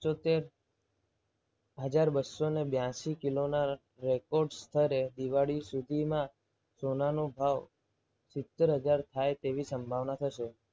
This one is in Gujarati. તેર હજાર બસો બ્યાસી કિલોના રેકોર્ડ સ્તરે દિવાળી સુધીમાં સોનાનો ભાવ સિત્તેર હજાર થાય તેવી સંભાવના થશે.